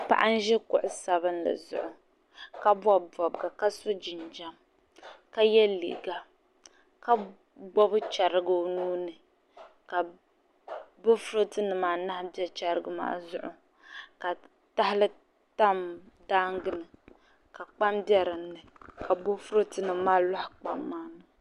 Paɣa n-ʒi kuɣ' sabilinli zuɣu ka bɔbi bɔbiga ka so jinjam ka ye liiga ka gbibi chɛriga o nuu ni ka boofurootonima anahi be chɛriga maa zuɣu ka tahali tam daaŋga ni ka kpaam be dinni ka boofurootonima maa lɔhi kpaam maa ni.